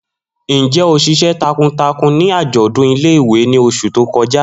Njẹ o ṣiṣẹ takuntakun ni ajọdun ile-iwe ni oṣu to kọja?